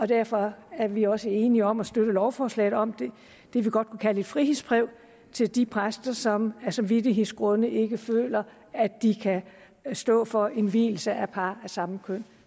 derfor er vi også enige om at støtte lovforslaget om det vi godt kunne kalde et frihedsbrev til de præster som af samvittighedsgrunde ikke føler at de kan stå for en vielse af par af samme køn